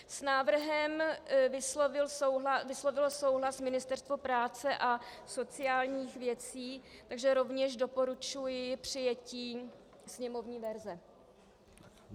S návrhem vyslovilo souhlas Ministerstvo práce a sociálních věcí, takže rovněž doporučuji přijetí sněmovní verze.